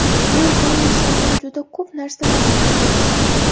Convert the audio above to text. Men u insondan juda ko‘p narsalarni o‘rganganman.